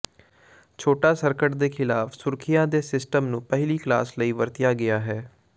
ਛੋਟਾ ਸਰਕਟ ਦੇ ਖਿਲਾਫ ਸੁਰੱਖਿਆ ਦੇ ਸਿਸਟਮ ਨੂੰ ਪਹਿਲੀ ਕਲਾਸ ਲਈ ਵਰਤਿਆ ਗਿਆ ਹੈ